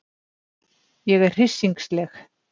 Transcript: Ég er hryssingsleg.